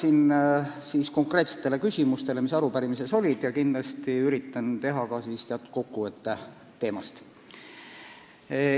Vastan konkreetsetele küsimustele, mis arupärimises olid, ja üritan teha ka teatud kokkuvõtte teemast.